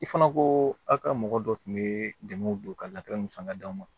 I fana ko aw ka mɔgɔ dɔ tun bɛ dɛmɛw don ka san ka d'aw ma